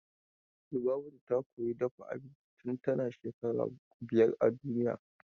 Lubabatu ta koyi dafa abinci tun tana shekara biyar a duniya.